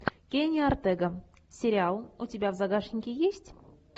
кенни ортега сериал у тебя в загашнике есть